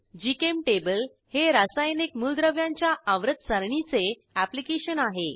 GChemTable हे रासायनिक मूलद्रव्यांच्या आवर्तसारणीचे अॅप्लिकेशन आहे